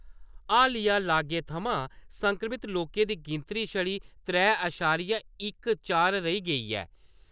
हालिया लागै थमां संक्रमित लोकें दी गिनतरी छड़ी त्रै अशारिया इक चार रेही गेई ऐ ।